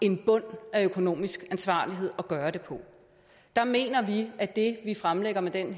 en bund af økonomisk ansvarlighed at gøre det på der mener vi at det vi fremlægger med den